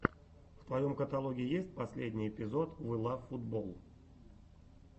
в твоем каталоге есть последний эпизод вилавфутболл